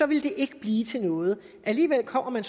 ville det ikke blive til noget alligevel kommer man